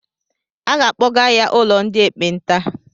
A ga-akpọga ya ụlọ ndị ekpenta.